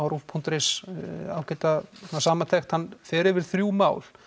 rúv punktur is ágæta samantekt hann fer yfir þrjú mál